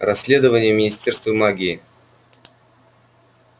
расследование в министерстве магии